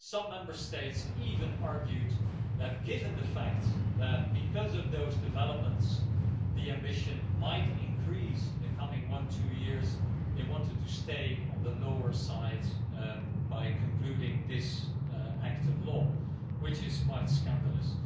Some Member States even argued that given the fact that because of those developments, the ambition might increase in the coming one or two years, they wanted to stay on the lower side by concluding this act of law, which is quite scandalous.